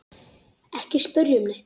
Ekki spyrja um neitt.